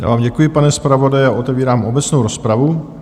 Já vám děkuji, pane zpravodaji, a otevírám obecnou rozpravu.